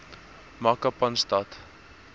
makapanstad